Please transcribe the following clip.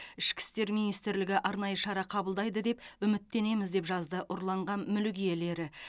ішкі істер министрлігі арнайы шара қабылдайды деп үміттенеміз деп жазды ұрланған мүлік иелері